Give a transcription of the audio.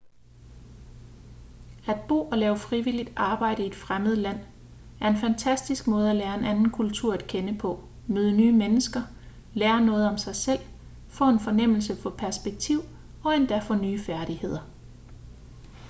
at bo og lave frivilligt arbejde i et fremmed land er en fantastisk måde at lære en anden kultur at kende på møde nye mennesker lære noget om sig selv få en fornemmelse for perspektiv og endda få nye færdigheder